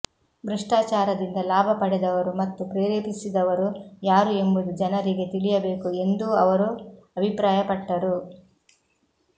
ಭ್ರಷ್ಟಾಚಾರದಿಂದ ಲಾಭ ಪಡೆದವರು ಮತ್ತು ಪ್ರೇರೇಪಿಸಿದವರು ಯಾರು ಎಂಬುದು ಜನರಿಗೆ ತಿಳಿಯಬೇಕು ಎಂದೂ ಅವರು ಅಭಿಪ್ರಾಯ ಪಟ್ಟರು